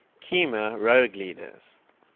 khmer rouge leaders